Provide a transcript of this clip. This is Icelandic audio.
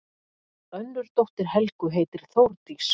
Önnur dóttir Helgu heitir Þórdís.